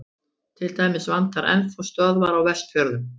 til dæmis vantar enn þá stöðvar á vestfjörðum